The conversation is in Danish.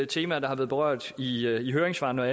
temaer der har været berørt i høringssvarene